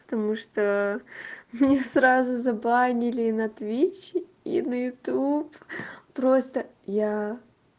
потому что мне сразу забанили на твич и на ютуб просто я